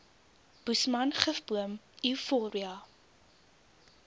boesman gifboom euphorbia